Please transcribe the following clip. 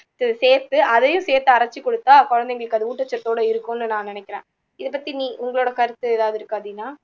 சேத்து அதையும் சேத்து அரைச்சு கொடுத்தா குழந்தைங்களுக்கு அது ஊட்டச்சத்தோட இருக்கும்னு நான் நினைக்குறேன் இதை பத்தி நீ உங்களோட கருத்து எதாவது இருக்கா தீனா